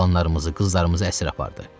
Oğlanlarımızı, qızlarımızı əsir apardı.